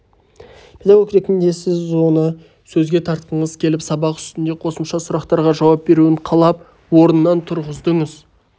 педагог ретінде сіз оны сөзге тартқыңыз келіп сабақ үстінде қосымша сұрақтарға жауап беруін қалап орнынан тұрғыздыңыз